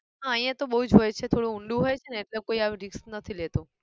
હા અહીંયા તો બહુ જ હોય છે થોડું ઊંડું હોય છે ને એટલે કોઈ આવું risk નથી લેતું